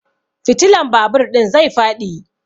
Fitilan babur ɗin zai faɗi.